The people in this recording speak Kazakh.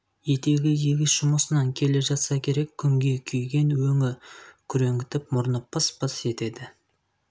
етегі егіс жұмысынан келе жатса керек күнге күйген өңі күреңітіп мұрны пыс-пыс етеді